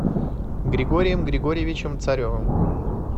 григорием григорьевичем царевым